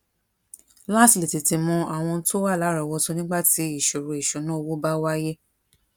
láti lè tètè mọ àwọn ohun tó wà láròówótó nígbà tí ìṣòro ìṣúnná owó bá wáyé